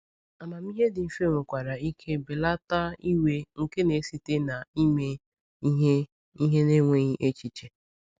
Amamihe dị mfe nwekwara ike belata iwe nke na-esite na ime ihe ihe n’enweghị echiche.